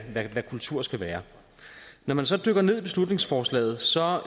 kultur skal være når man så dykker ned i beslutningsforslaget ser